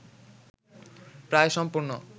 প্রায় সম্পূর্ণ